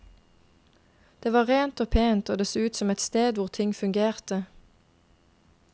Det var rent og pent og det så ut som et sted hvor ting fungerte.